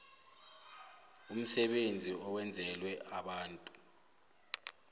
umsebenzi owenzelwe abantu